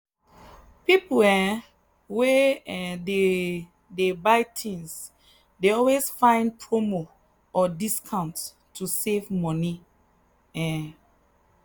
people um wey um dey dey buy things dey always find promo or discount to save money. um